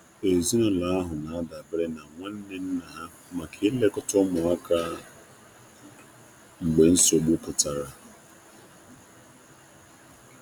Ezinụlọ ya tụkwasịrị obi na nwanne nna ha maka ụmụaka mgbe ihe mgbochi bịara.